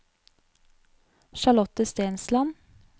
Charlotte Stensland